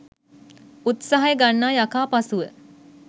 උත්සාහ ගන්නා යකා පසුව